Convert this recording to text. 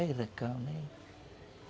né?